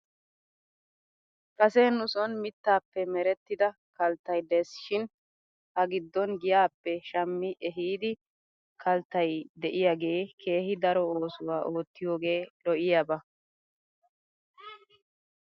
Kase nu son mittaappe merettida kaltta de'es shin ha giddon giyaappe shammi ehiidi kalttay de'iyaagee keehi daro oosuwaa oottiyoogee lo'iyaaba.